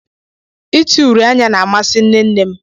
Ite uri anya na-amasi Nne nne m